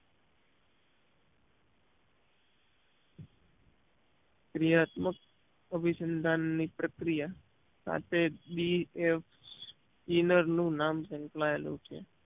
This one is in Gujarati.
ક્રિયાત્મક અભિસંધાન ની પ્રક્રિયા સાથે બી એફ ઇનર નું નામ સંકળાયેલું છે